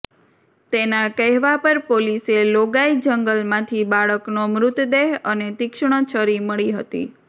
તેના કહેવા પર પોલીસે લોગાઈ જંગલમાંથી બાળકનો મૃતદેહ અને તીક્ષ્ણ છરી મળી હતી